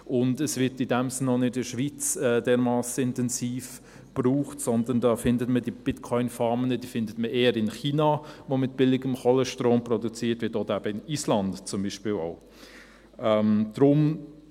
Und es wird in diesem Sinn auch nicht in der Schweiz dermassen intensiv gebraucht, sondern diese Bitcoin-Farmen findet man eher in China, wo mit billigem Kohlestrom produziert wird oder in Island zum Beispiel auch.